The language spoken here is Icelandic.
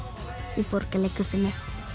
í Borgarleikhúsinu